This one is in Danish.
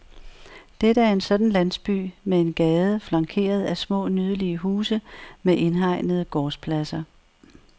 Dette er en sådan landsby med en gade flankeret af små, nydelige huse med indhegnede gårdspladser.